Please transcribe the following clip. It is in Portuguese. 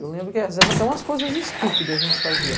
Eu lembro que às vezes até umas coisas estúpidas a gente fazia.